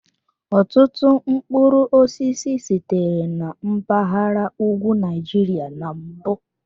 Ọtụtụ mkpụrụ osisi sitere na mpaghara ugwu Nigeria na mbụ.